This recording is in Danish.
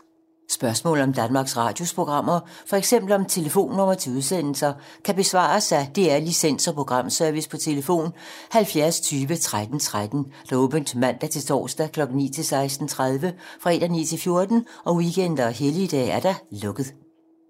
Spørgsmål om Danmarks Radios programmer, f.eks. om telefonnumre til udsendelser, kan besvares af DR Licens- og Programservice: tlf. 70 20 13 13, åbent mandag-torsdag 9.00-16.30, fredag 9.00-14.00, weekender og helligdage: lukket.